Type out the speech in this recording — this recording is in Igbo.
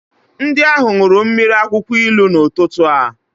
Ndị ahụ ṅụrụ mmiri akwụkwọ ilu n'ụtụtụ a.